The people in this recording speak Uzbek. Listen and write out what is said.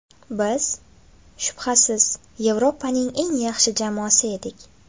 Biz, shubhasiz, Yevropaning eng yaxshi jamoasi edik.